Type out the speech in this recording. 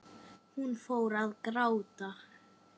Hún fór að gráta.